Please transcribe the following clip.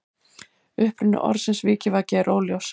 Uppruni orðsins vikivaki er óljós.